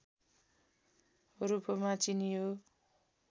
रूपमा चिनियो